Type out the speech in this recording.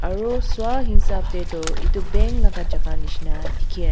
aro swahisap tae toh edu bank laka jaka nishina dikhiase--